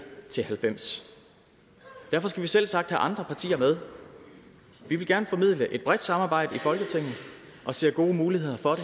til halvfems og derfor skal vi selvsagt have andre partier med vi vil gerne formidle et bredt samarbejde i folketinget og ser gode muligheder for